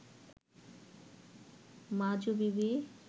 মাজু বিবি